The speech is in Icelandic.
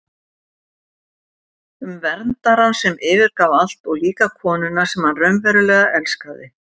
Um verndarann sem yfirgaf allt og líka konuna sem hann raunverulega elskaði.